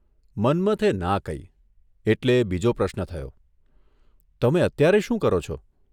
મન્મથે ના કહી એટલે બીજો પ્રશ્ન થયોઃ તમે અત્યારે શું કરો છો?